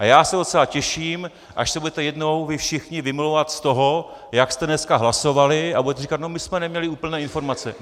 A já se docela těším, až se budete jednou vy všichni vymlouvat z toho, jak jste dneska hlasovali, a budete říkat no, my jsme neměli úplné informace.